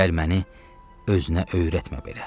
Gəl məni özünə öyrətmə belə.